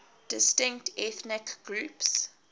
distinct ethnic groups